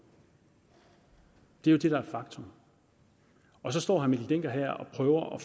det er jo det der er faktum og så står herre mikkel dencker her og prøver at